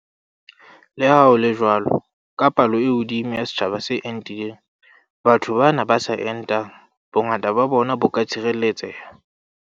Le ha ho le jwalo, ka palo e hodimo ya setjhaba se entileng, batho bana ba sa entang, bongata ba bona bo ka tshireletseha.